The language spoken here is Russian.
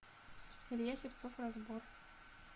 илья сивцов разбор